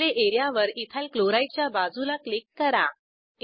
display एरियावर ethyl chloride च्या बाजूला क्लिक करा